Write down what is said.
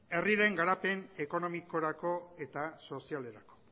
herriren garapen ekonomikorako eta sozialerako